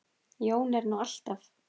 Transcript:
Jón er nú alltaf